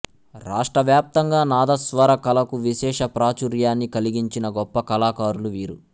రాష్ట్రవ్యాప్తంగా నాదస్వర కళకు విశేష ప్రాచుర్యాన్నికలిగించిన గొప్ప కళాకారులు వీరు